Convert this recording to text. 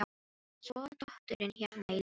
Svo er dóttirin hérna í lauginni.